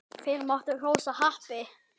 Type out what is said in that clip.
Þeir máttu hrósa happi.